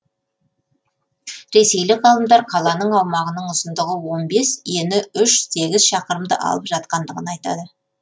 ресейлік ғалымдар қаланың аумағының ұзындығы он бес ені үш сегіз шақырымды алып жатқандығын айтады